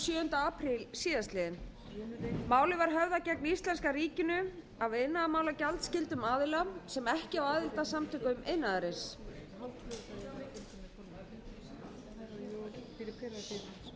apríl síðastliðinn málið var höfðað gegn íslenska ríkinu af iðnaðarmálagjaldskyldum aðila sem ekki á aðild að samtökum iðnaðarins forseti biður um ró í salnum og